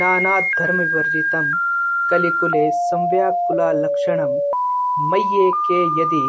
नानाधर्मविवर्जितं कलिकुले संव्याकुलालक्षणं मय्येके यदि